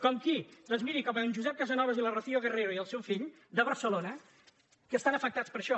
com qui doncs miri com en josep casanovas i la rocío guerrero i el seu fill de barcelona que estan afectats per això